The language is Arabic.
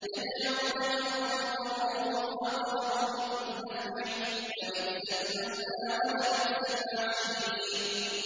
يَدْعُو لَمَن ضَرُّهُ أَقْرَبُ مِن نَّفْعِهِ ۚ لَبِئْسَ الْمَوْلَىٰ وَلَبِئْسَ الْعَشِيرُ